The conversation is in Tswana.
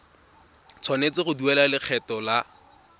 tshwanetse go duela lekgetho la